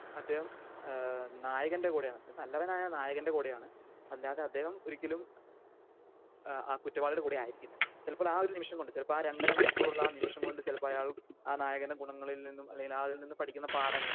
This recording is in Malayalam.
അദ്ദേഹം ഏഹ് നായകൻ്റെ കൂടെയാണ് ഒരു നല്ലവനായ നായകൻ്റെ കൂടെയാണ്. അല്ലാതെ അദ്ദേഹം ഒരിക്കലും ആഹ് കുറ്റവാളിയുടെ കൂടെ ആയിരിക്കില്ല. ചിലപ്പോൾ ആഹ് ഒരു നിമിഷം കൊണ്ട് ചിലപ്പോൾ ആഹ് രണ്ടര മണിക്കൂറുള്ള ആഹ് നിമിഷം കൊണ്ട് ആഹ് അയാൾ ചിലപ്പോൾ ആഹ് നായകന്റെ ഗുണങ്ങളിൽ നിന്നും അല്ലെങ്കിൽ ആ നായകനിൽ നിന്നും പഠിക്കുന്ന പാഠങ്ങൾ